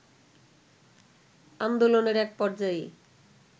আন্দোলনের এক পর্যায়ে